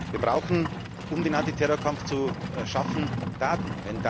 Wir brauchen, um den Antiterrorkampf zu schaffen, Daten.